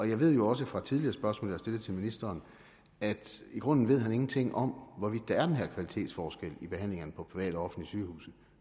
jeg ved jo også fra tidligere spørgsmål jeg har stillet til ministeren at i grunden ved han ingenting om hvorvidt der er den her kvalitetsforskel i behandlingerne på private og offentlige sygehuse